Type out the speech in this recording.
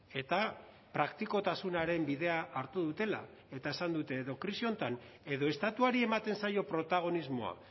eta praktikotasunaren bidea hartu dutela eta esan dute edo krisi honetan edo estatuari ematen zaio protagonismoa